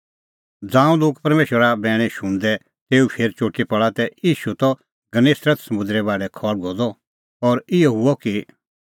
ज़ांऊं लोग परमेशरे बैणा शुणदै तेऊ फेर चुटी पल़ा तै ईशू त गन्नेसरत समुंदरे बाढै खल़्हुअ द और इहअ हुअ कि